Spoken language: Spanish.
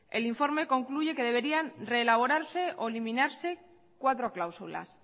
el informe concluye que deberían reelaborarse o eliminarse cuatro cláusulas